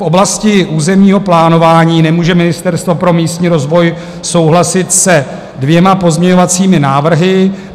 V oblasti územního plánování nemůže Ministerstvo pro místní rozvoj souhlasit se dvěma pozměňovacími návrhy.